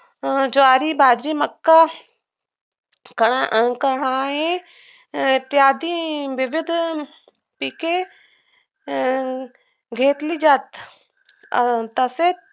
ज्वारी, बाजरी, मक्का कन्ना आणि आहे इत्याद विविध शेती अं घेतली जाते अं तसेच